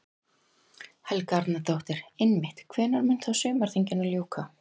Helga Arnardóttir: Einmitt, hvenær mun þá sumarþinginu ljúka?